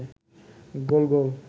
গোল-গোল